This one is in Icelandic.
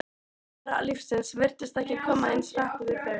alvara lífsins virtist ekki koma eins hart við þau.